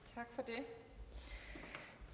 at